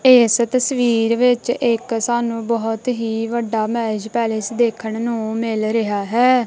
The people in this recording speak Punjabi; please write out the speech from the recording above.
ਇਸ ਤਸਵੀਰ ਵਿੱਚ ਇੱਕ ਸਾਨੂੰ ਬਹੁਤ ਹੀ ਵੱਡਾ ਮੈਰਿਜ ਪੈਲਸ ਦੇਖਣ ਨੂੰ ਮਿਲ ਰਿਹਾ ਹੈ।